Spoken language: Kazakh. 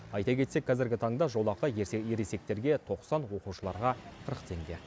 айта кетсек қазіргі таңда жолақы ересектерге тоқсан оқушыларға қырық теңге